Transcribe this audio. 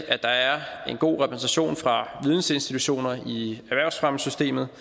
at der er en god repræsentation fra vidensinstitutioner i erhvervsfremmesystemet og